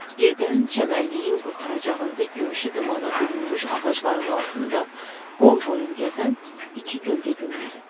Birdən çəmənliyin qurtaracağında gümüşü dumana bürünmüş ağacların altında qol-boyun gəzən iki kölgə göründü.